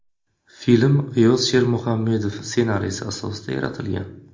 Film G‘iyos Shermuhammedov ssenariysi asosida yaratilgan.